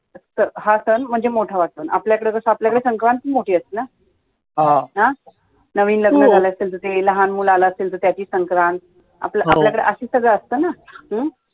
हा सण मोठा वाटतो, आपल्याकडे जसं आपल्याकडे संक्रांत पण मोठी असते ना नवीन नवीन आला असेल तर ते, लहान मूळ आलं असेल तर त्याची संक्रांत आपल्याकडे असं सगळं असत ना